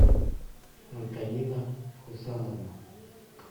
антонина хусановна